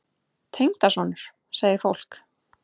Tengdason? segir fólk.